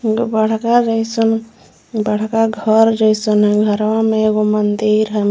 एगो बड़का जइसन बड़का घर जइसन है इ घरवा में एगो मंदिर है म --